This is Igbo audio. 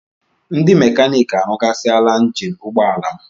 Ndị mekaniiki arụghasịala njini ụgbọala m